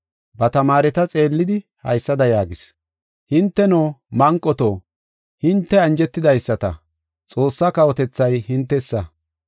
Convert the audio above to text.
Ba tamaareta xeellidi haysada yaagis: “Hinteno, manqoto, hinte anjetidaysata; Xoossaa kawotethay hintesa.